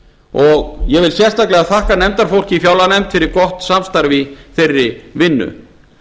og ég vil sérstaklega þakka nefndarfólki í fjárlaganefnd fyrir gott samstarf í þeirri vinnu